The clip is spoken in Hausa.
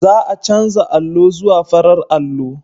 Za a canza allo zuwa farar allo.